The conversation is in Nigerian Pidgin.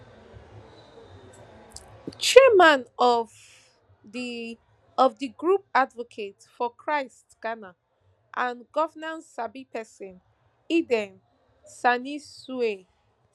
chairman of di of di group advocates for christ ghana and governance sabi pesin eden senanusay